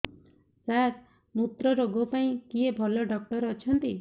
ସାର ମୁତ୍ରରୋଗ ପାଇଁ କିଏ ଭଲ ଡକ୍ଟର ଅଛନ୍ତି